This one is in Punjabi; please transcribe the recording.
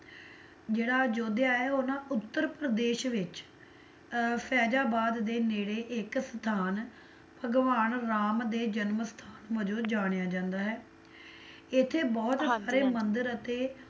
ਜਿਹੜਾ ਅਯੋਧਿਆ ਹੈ ਨਾ ਉਹ ਨਾ ਉੱਤਰ ਪ੍ਰਦੇਸ਼ ਵਿੱਚ ਅਹ ਫੈਜ਼ਾਬਾਦ ਦੇ ਨੇੜੇ ਇੱਕ ਸਥਾਨ ਭਗਵਾਨ ਰਾਮ ਦੇ ਜਨਮ ਸਥਾਨ ਵਜੋਂ ਜਾਣਿਆ ਜਾਂਦਾ ਹੈ, ਇੱਥੇ ਬਹੁਤ ਸਾਰੇ ਮੰਦਿਰ ਅਤੇ